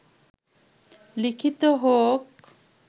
লিখিত হোক